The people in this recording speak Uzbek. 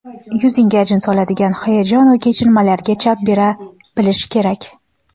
yuzingga ajin soladigan hayajonu kechinmalarga chap bera bilish kerak.